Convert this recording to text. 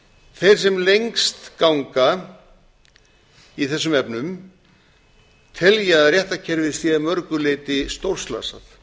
þeir sem lengst ganga í þessum efnum telja að réttarkerfið sé að mörgu leyti stórslasað